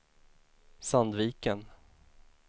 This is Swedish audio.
Sandviken